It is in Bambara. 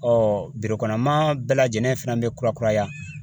ma bɛɛ lajɛlen fana bɛ kurakuraya